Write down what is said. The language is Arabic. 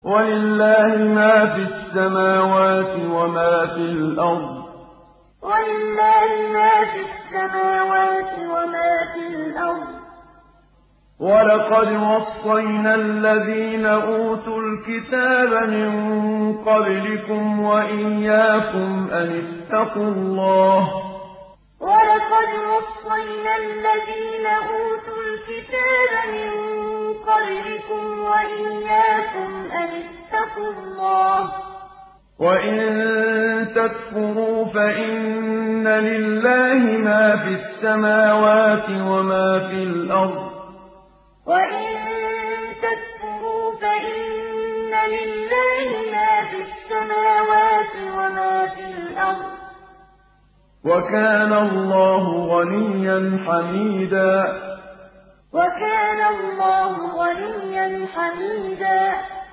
وَلِلَّهِ مَا فِي السَّمَاوَاتِ وَمَا فِي الْأَرْضِ ۗ وَلَقَدْ وَصَّيْنَا الَّذِينَ أُوتُوا الْكِتَابَ مِن قَبْلِكُمْ وَإِيَّاكُمْ أَنِ اتَّقُوا اللَّهَ ۚ وَإِن تَكْفُرُوا فَإِنَّ لِلَّهِ مَا فِي السَّمَاوَاتِ وَمَا فِي الْأَرْضِ ۚ وَكَانَ اللَّهُ غَنِيًّا حَمِيدًا وَلِلَّهِ مَا فِي السَّمَاوَاتِ وَمَا فِي الْأَرْضِ ۗ وَلَقَدْ وَصَّيْنَا الَّذِينَ أُوتُوا الْكِتَابَ مِن قَبْلِكُمْ وَإِيَّاكُمْ أَنِ اتَّقُوا اللَّهَ ۚ وَإِن تَكْفُرُوا فَإِنَّ لِلَّهِ مَا فِي السَّمَاوَاتِ وَمَا فِي الْأَرْضِ ۚ وَكَانَ اللَّهُ غَنِيًّا حَمِيدًا